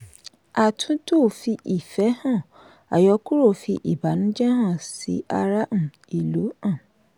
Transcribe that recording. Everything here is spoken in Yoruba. àtúntò fi ifẹ́ hàn; àyọkúrò fi ìbànújẹ hàn sí ará um ìlú. um